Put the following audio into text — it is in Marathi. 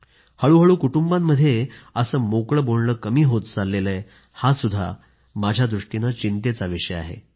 हळूहळू कुटुंबामध्येही असं मोकळं बोलणं कमी होत चाललं आहे हा सुद्धा आता चिंतेचा विषय बनला आहे